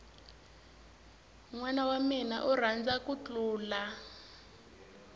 nwana wamina u rhandza ku thlula